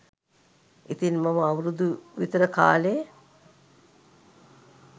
ඉතින් මම අවුරුදුවිතර කාලෙ